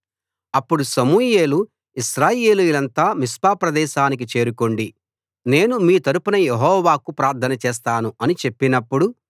అప్పుడు సమూయేలు ఇశ్రాయేలీయులంతా మిస్పా ప్రదేశానికి చేరుకోండి నేను మీ తరపున యెహోవాకు ప్రార్థన చేస్తాను అని చెప్పినప్పుడు